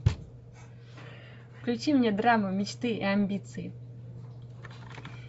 включи мне драму мечты и амбиции